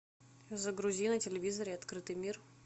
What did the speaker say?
загрузи на телевизоре открытый мир